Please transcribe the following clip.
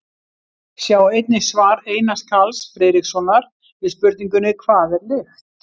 Sjá einnig svar Einars Karls Friðrikssonar við spurningunni Hvað er lykt?